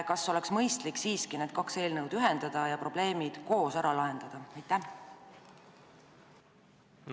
Kas ei oleks siiski mõistlik need kaks eelnõu ühendada ja probleemid koos ära lahendada?